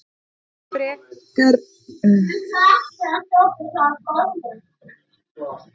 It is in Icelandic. Ekkert frekar en þau hafa hugmynd um að skólinn er leiðinlegur.